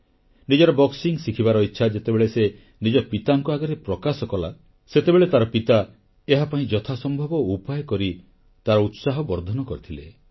ନିଜର ବକ୍ସିଂ ଶିଖିବାର ଇଚ୍ଛା ଯେତେବେଳେ ସେ ନିଜ ପିତାଙ୍କ ଆଗରେ ପ୍ରକାଶ କଲା ସେତେବେଳେ ତାର ପିତା ଏହାପାଇଁ ଯଥାସମ୍ଭବ ଉପାୟ କରି ତାର ଉତ୍ସାହ ବର୍ଦ୍ଧନ କରିଥିଲେ